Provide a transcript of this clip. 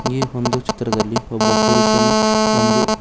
ಈ ಒಂದು ಚಿತ್ರದಲ್ಲಿ ಒಬ್ಬ ಪುರುಷನು ಒಂದು--